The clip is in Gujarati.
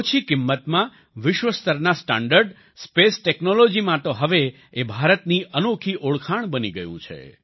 ઓછી કિંમતમાં વિશ્વસ્તરના સ્ટાન્ડર્ડ સ્પેસ ટેક્નોલોજીમાં તો હવે એ ભારતની અનોખી ઓળખાણ બની ગયું છે